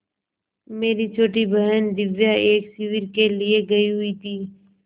मेरी छोटी बहन दिव्या एक शिविर के लिए गयी हुई थी